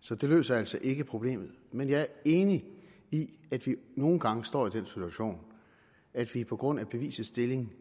så det løser altså ikke problemet men jeg er enig i at vi nogle gange står i den situation at vi på grund af bevisets stilling